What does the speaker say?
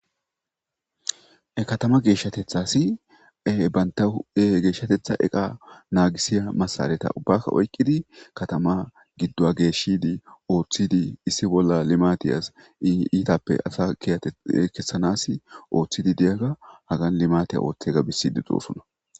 katama geeshshatethasi e banta e geeshshatetha eqa naagisiya masaleta ubbakka oykqidi katama giddoa geeshshidi ooththidi issi bolla limatiyas i iitappe asa iyate kessanas ooththidi deyaga hagan limatiya ooththega bisidi doosona.